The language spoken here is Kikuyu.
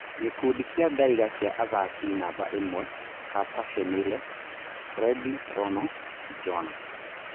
Gĩkundi kĩa Ndaiga kĩa athaki namba ĩmwe: Kapa Shemile, Frendi Rono, Jona